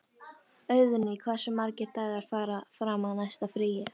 Auðný, hversu margir dagar fram að næsta fríi?